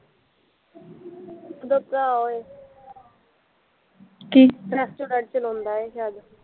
ਓਦਾ ਭਰਾ ਰੈਸਟੋਰੈਂਟ ਚਲਾਉਂਦਾ ਏ ਸ਼ਾਇਦ